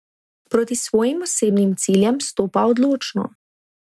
Proti svojim osebnim ciljem stopa odločno.